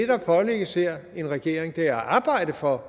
her pålægges en regering er at arbejde for